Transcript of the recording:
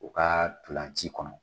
U ka ntolanci kɔnɔ